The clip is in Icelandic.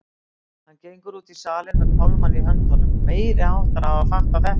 Hann gengur út í salinn með pálmann í höndunum, meiriháttar að hafa fattað þetta!